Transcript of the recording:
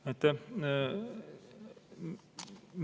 Aitäh!